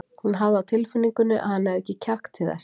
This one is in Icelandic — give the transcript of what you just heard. Hún hafði á tilfinningunni að hann hefði ekki kjark til þess.